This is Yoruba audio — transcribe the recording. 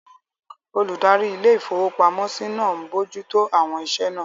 Olùdarí ilé-ìfowópamọ́sí náà n bojú tó àwọn iṣẹ́ náà